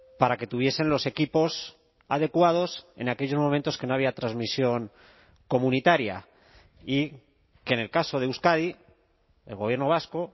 para que tuviesen los equipos adecuados en aquellos momentos que no había transmisión comunitaria y que en el caso de euskadi el gobierno vasco